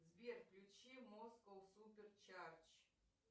сбер включи москоу супер чардж